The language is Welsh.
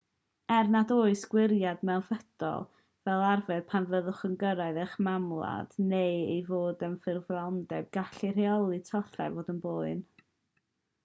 er nad oes gwiriad mewnfudo fel arfer pan fyddwch yn cyrraedd eich mamwlad neu ei fod yn ffurfioldeb gall rheoli tollau fod yn boen